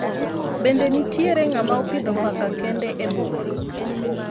Bende nitiere ng'ama opidho paka kende e boma